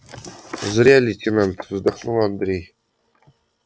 зря лейтенант вздохнул андрей